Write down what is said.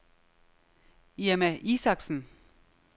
Irma Isaksen